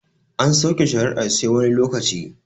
An sauke shari'ar sai wani lokaci